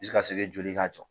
joli k'a jɔ.